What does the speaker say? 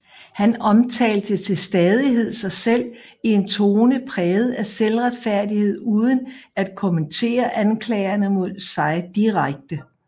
Han omtalte til stadighed sig selv i en tone præget af selvretfærdighed uden at kommentere anklagerne mod sig direkte